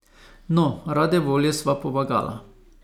No, rade volje sva pomagala.